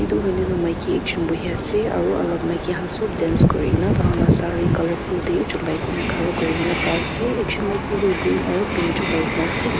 etu hoiley tu maiki ekjun bohi ase aru alag maiki khan sop dance kuri kena taikhan lah sari colourfull teh cholai kena khara kuri kena pai ase ekjun maiki tu green aru pink cholai kena ase.